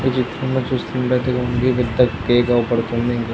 ఈ చిత్రంలో చూస్తున్నట్లైతే పెద్ద కేక్ అవుపడుతుంది--